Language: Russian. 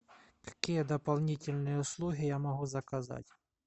какие дополнительные услуги я могу заказать